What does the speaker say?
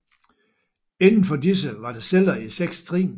Indenfor disse var der celler i seks trin